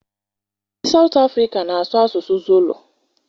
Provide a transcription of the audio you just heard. Ndị South Africa na-asụ asụsụ Zulu.